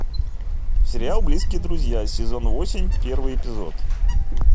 сериал близкие друзья сезон восемь первый эпизод